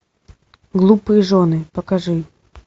глупые жены покажи